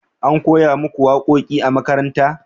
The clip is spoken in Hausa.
an koya muku waƙoƙi a makaranta?